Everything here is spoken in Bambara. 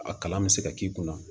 A kalan bɛ se ka k'i kunna